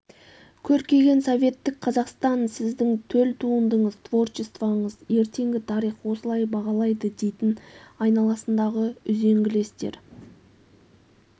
көркейген советтік қазақстан сіздің төл туындыңыз творчествоңыз ертеңгі тарих осылай бағалайды дейтін айналасындағы үзеңгілестер